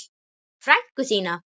Frænku þína?